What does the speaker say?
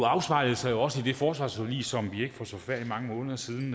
afspejles jo også i det forsvarsforlig som vi for forfærdelig mange måneder siden